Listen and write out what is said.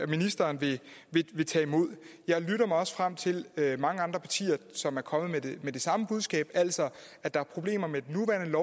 ministeren vil tage imod jeg lytter mig også frem til der er mange andre partier som er kommet med det samme budskab altså at der er problemer med den